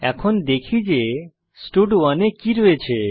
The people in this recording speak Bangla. এখন দেখি যে স্টাড1 এ কি রয়েছে